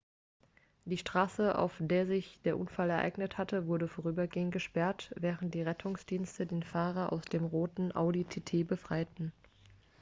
die straße auf der sich der unfall ereignet hatte wurde vorübergehend gesperrt während die rettungsdienste den fahrer aus dem roten audi tt befreiten